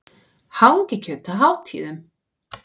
Hangikjöt á hátíðum.